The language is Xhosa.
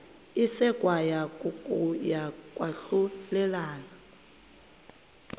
isekwa kokuya kwahlulelana